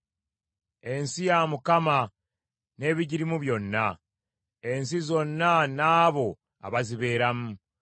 Ensi ya Mukama n’ebigirimu byonna, n’ensi zonna n’abo abazibeeramu.